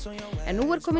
en nú er kominn